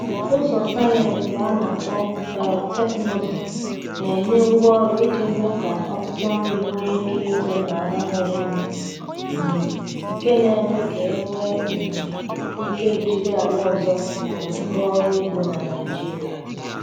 Ụzọ sayensị a na-akpọ biotekịnụzụ na-enye ngwaọrụ iji mee ka akwụkwọ nri nwee ike ito n’ala nwere nnu, um nke na-eme ka e nwee um ike jiri ala ọzọ um rụọ ọrụ ugbo na Nigeria.